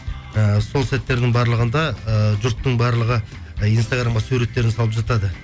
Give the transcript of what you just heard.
і сол сәттердің барлығында ыыы жұрттың барлығы і инстаграмға суреттерін салып жатады